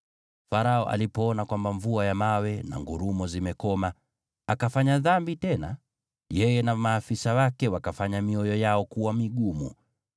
Farao alipoona kwamba mvua ya mawe na ngurumo zimekoma, akafanya dhambi tena. Yeye na maafisa wake wakafanya mioyo yao kuwa migumu.